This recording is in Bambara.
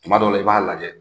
Tuma dɔw la, i b'a lajɛ